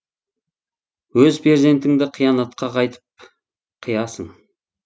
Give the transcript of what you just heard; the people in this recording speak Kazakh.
өз перзентіңді қиянатқа қайтып қиясың